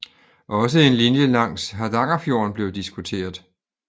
Også en linje langs Hardangerfjorden blev diskuteret